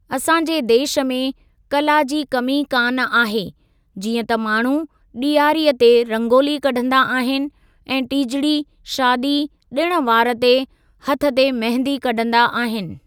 असांजे देश में कला जी कमी कान आहे जीअं त माण्हू ॾियारीअ ते रंगोली कढंदा आहिनि ऐं टीजड़ी, शादी, ॾिण वार ते हथ ते मेहंदी कढंदा आहिनि।